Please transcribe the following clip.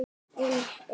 Í einu!